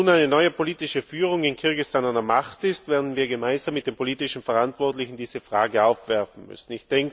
Wenn nun eine neue politische Führung in Kirgisistan an der Macht ist, werden wir gemeinsam mit den politischen Verantwortlichen diese Frage aufwerfen müssen.